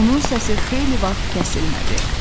Onun səsi xeyli vaxt kəsilmədi.